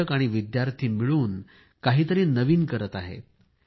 शिक्षक आणि विद्यार्थी मिळून काहीतरी नवीन करीत आहेत